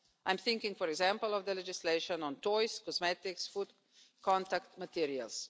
I'm thinking, for example, of the legislation on toys, cosmetics and food contact materials.